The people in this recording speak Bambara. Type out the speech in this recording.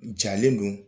Jalen don